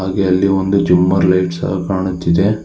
ಹಾಗೆ ಅಲ್ಲಿ ಒಂದು ಜುಮಾರ್ ಲೈಟ್ ಸಹ ಕಾಣುತ್ತಿದ್ದೆ.